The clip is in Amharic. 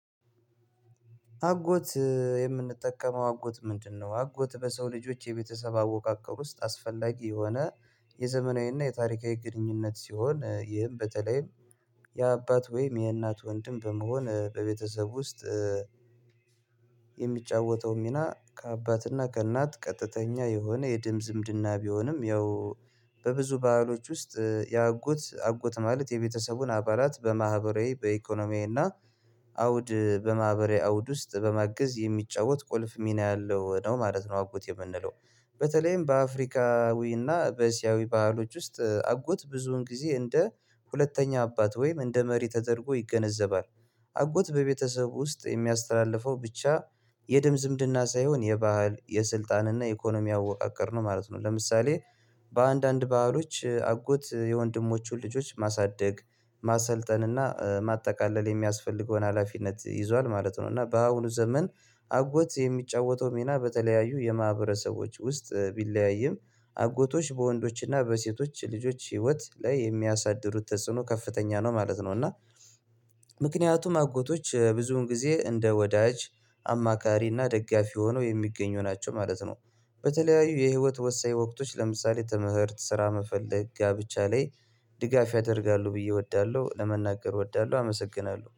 አጎት የምንጠቀመው አጎት ምንድነው? አጎት በሰው ልጆች የቤተሰብ አወቃቀር ውስጥ አስፈላጊ የሆነ የዘመናዊና የታሪካዊ ግንኙነት ሲሆን ይህም በተለይም የአባት ወይም የእናት ወንድም በመሆን በቤተሰብ ውስጥ የሚጫወተው ሚና ከአባትና ከእናት ቀጥተኛ የሆነ የደም ዝምድና ቢሆንም ያው በብዙ ባህሎች ውስጥ የአጎት አጎት ማለት የቤተሰቡን አባላት በማህበራዊ በኢኮኖሚዬ እና አውድ በማህበራዊ አውድ ውስጥ በመግዝ የሚጫወት ቁልፍ ሚና ያለው ነው ማለት ነው። አውቆት የምንለው በተለይም በአፍሪካዊ እና በእስያዊ ባህሎች ውስጥ አጎት ብዙውን ጊዜ እንደ ሁለተኛ አባት ወይም እንደ መሪ ተደርጎ ይገነዘባል። አጎት በቤተሰብ ውስጥ የሚያስተላልፈው ብቻ የድም ዝምድና ሳይሆን የባህል የስልጣን እና የኢኮኖሚ አወቃቀር ነው ማለት ነው። ለምሳሌ በአንዳንድ ባህሎች አጎት የወንድሞቹን ልጆች ማሳደግ ማሰልጠን እና ማጠቃለል የሚያስፈልገውን ሀላፊነት ይዟል ማለት ነው። እና በአሁኑ ዘመን አጎት የሚጫወተው ሚና በተለያዩ የማህበረሰቦች ውስጥ ቢለያይም አጎቶች በወንዶችና በሴቶች ልጆች ህይወት ላይ የሚያሳድሩት ተጽዕኖ ከፍተኛ ነው ማለት ነው። እና ምክንያቱም አጎቶች ብዙውን ጊዜ እንደ ወዳጅ አማካሪ እና ደጋፊ ሆነው የሚገኙ ናቸው ማለት ነው። በተለያዩ የህይወት ወሳኝ ወቅቶች ለምሳሌ ተምህርት ስራ መፈለግ ጋብቻ ላይ ድጋፍ ያደርጋሉ ብዬ እወዳለሁ ለመናገር እወዳለሁ። አመሰግናለሁ